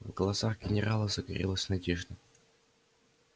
в глазах генерала загорелась надежда